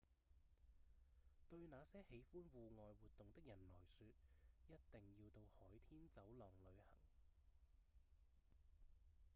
對那些喜歡戶外活動的人來說一定要到海天走廊旅行